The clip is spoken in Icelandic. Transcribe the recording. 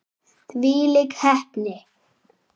Þvílík heppni!